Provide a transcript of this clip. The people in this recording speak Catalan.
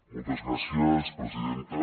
moltes gràcies presidenta